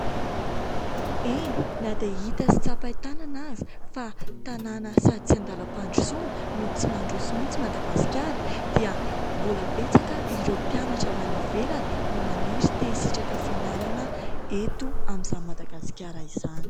Eny ! Na dia hita sy tsapahi-tanana aza fa tanàna sady tsy an-dalam-pandrosoana no tsy mandroso mihitsy Madagaskara dia mbola betsaka ireo mpianatra avy any ivelany no maniry te-hisitraka fianarana eto amin'izany Madagasikara izany.